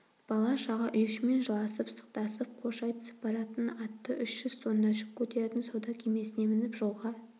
бала-шаға үй-ішіммен жыласып-сықтасып қош айтысып баратын атты үш жүз тонна жүк көтеретін сауда кемесіне мініп жолға